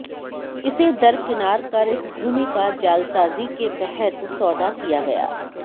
इसे दरकिनार कर इस भूमि का जालसाजी के तहत सौदा किया गया